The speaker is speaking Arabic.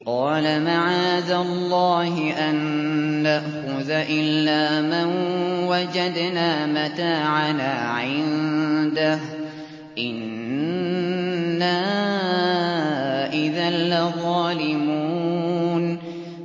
قَالَ مَعَاذَ اللَّهِ أَن نَّأْخُذَ إِلَّا مَن وَجَدْنَا مَتَاعَنَا عِندَهُ إِنَّا إِذًا لَّظَالِمُونَ